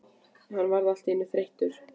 Hann varð allt í einu þreyttur.